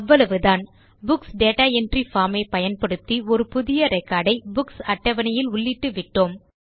அவ்வளவுதான் books data entry form ஐ பயன்படுத்தி ஒரு புதிய ரெக்கார்ட் ஐ புக்ஸ் அட்டவணையில் உள்ளிட்டு விட்டோம்